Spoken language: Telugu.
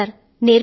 అవును సర్